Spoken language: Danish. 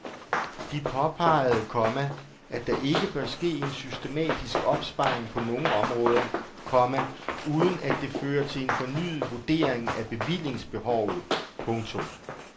De påpegede, komma at der ikke bør ske en systematisk opsparing på nogen områder, komma uden at det fører til en fornyet vurdering af bevillingsbehovet. punktum